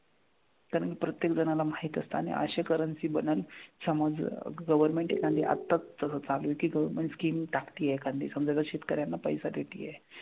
कारण प्रत्येक जणाला माहित असतं आणि असे currency बनल समज government एखादी आताच तसं चालू आहे की government scheme टाकतेय एखादी समजा जर शेतकऱ्यांना पैसे देतेय,